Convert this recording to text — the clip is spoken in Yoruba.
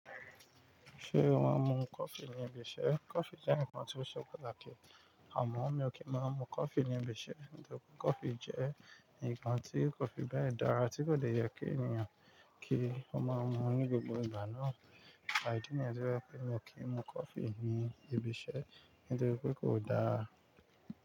Ṣé ó máa ń mu coffee ní ibi iṣẹ́? Coffee jẹ́ nǹkan tí ó ṣe pàtàkì àmọ́ mi ò kí n máa mu coffee ní ibi iṣẹ́. Nítorí pé coffee jẹ́ nǹkan tí kò fi bẹ́ẹ̀ dára tí kò dẹ̀ yẹ kí ènìyàn kí ó máa mu ní gbogbo ìgbà náà. Ìdí nìyén tí o jẹ́ pé mi ò kí ń mu coffee ní ibi iṣẹ́, nítorí pé kò dáa.